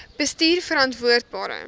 bestuurverantwoordbare